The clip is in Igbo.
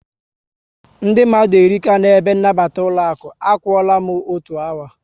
Ndị mmadụ erika na ebe nabata ụlọaku, a kwụọra m ọtọ otu awa